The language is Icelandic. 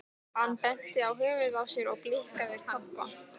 Hann benti á höfuðið á sér og blikkaði Kobba.